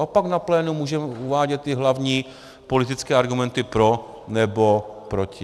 A pak na plénu můžeme uvádět ty hlavní, politické argumenty pro nebo proti.